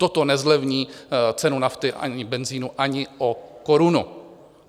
Toto nezlevní cenu nafty ani benzinu ani o korunu.